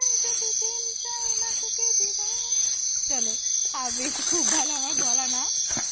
চল আর বেশি খুব ভালো আমার গলা না।